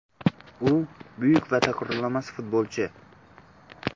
U – buyuk va takrorlanmas futbolchi”.